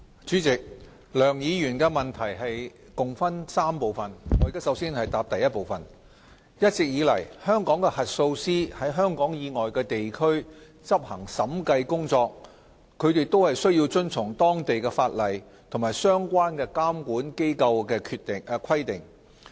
主席，梁議員的質詢共分3部分，我的答覆如下：一一直以來，香港核數師在香港以外地區執行審計工作，均須遵從當地的法例及相關監管機構的規定。